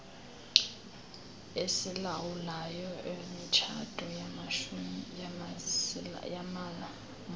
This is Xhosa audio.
esilawulayo imitshato yamamuslim